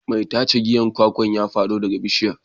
Mai tace giyan kwakwa ya fado daga bishiyar.